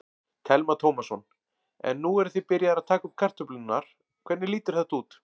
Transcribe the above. Telma Tómasson: En nú eruð þið byrjaðir að taka upp kartöflurnar, hvernig lítur þetta út?